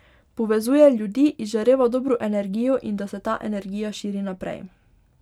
Povezuje ljudi, izžareva dobro energijo in da se ta energija širi naprej.